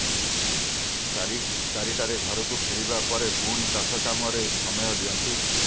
ଚାରିଟାରେ ଘରକୁ ଫେରିବା ପରେ ପୁଣି ଚାଷ କାମରେ ସମୟ ଦିଅନ୍ତି